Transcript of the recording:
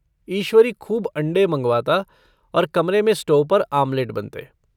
ईश्वरी खूब अंडे मँगवाता और कमरे में स्टोव पर आमलेट बनते।